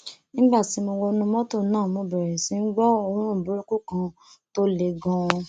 nígbà tí mo wọnú mọtò náà mo bẹrẹ sí í gbọ òórùn burúkú kan tó le ganan